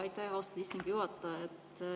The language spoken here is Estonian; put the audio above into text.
Aitäh, austatud istungi juhataja!